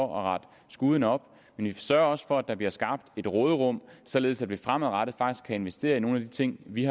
retter skuden op men vi sørger også for at der bliver skabt et råderum således at vi fremadrettet faktisk kan investere i nogle af de ting vi